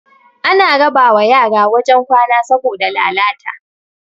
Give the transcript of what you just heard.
ana raba wa yara wajen kwana saboda lalalta